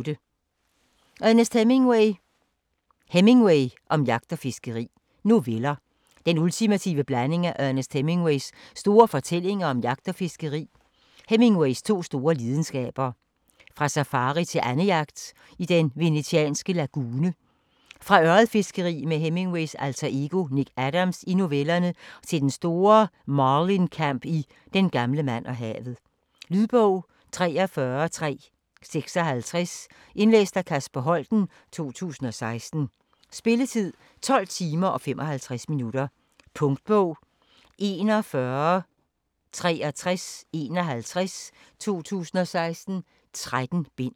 Hemingway, Ernest: Hemingway om jagt og fiskeri Noveller. Den ultimative blanding af Ernest Hemingways store fortællinger om jagt og fiskeri, Hemingways to store lidenskaber. Fra safari til andejagt i den venetianske lagune, fra ørredfiskeri med Hemingways alter ego Nick Adams i novellerne og til den store marlinkamp i "Den gamle mand og havet". Lydbog 43356 Indlæst af Kasper Holten, 2016. Spilletid: 12 timer, 55 minutter. Punktbog 416351 2016. 13 bind.